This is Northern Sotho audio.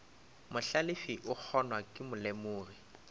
mohlalefi o kgonwa ke molemogi